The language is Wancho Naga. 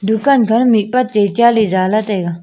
dukan kha ma mihpa te cha le jale taiga.